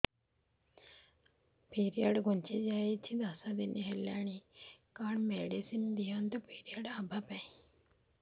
period ଘୁଞ୍ଚି ଯାଇଛି ଦଶ ଦିନ ହେଲାଣି କଅଣ ମେଡିସିନ ଦିଅନ୍ତୁ ପିରିଅଡ଼ ହଵା ପାଈଁ